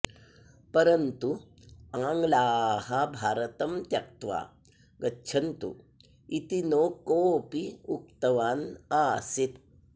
परन्तु आङ्ग्लाः भारतं त्यक्त्वा गच्छन्तु इति न कोऽपि उक्तवान् आसीत्